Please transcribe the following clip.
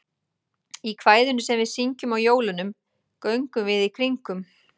Í kvæðinu sem við syngjum á jólunum, Göngum við í kringum.